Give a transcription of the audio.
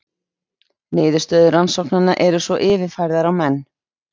Niðurstöður rannsóknanna eru svo yfirfærðar á menn.